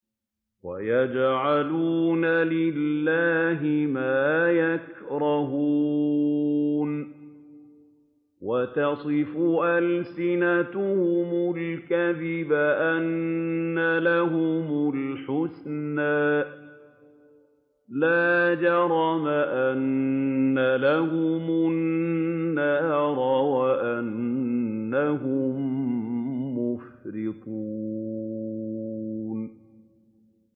وَيَجْعَلُونَ لِلَّهِ مَا يَكْرَهُونَ وَتَصِفُ أَلْسِنَتُهُمُ الْكَذِبَ أَنَّ لَهُمُ الْحُسْنَىٰ ۖ لَا جَرَمَ أَنَّ لَهُمُ النَّارَ وَأَنَّهُم مُّفْرَطُونَ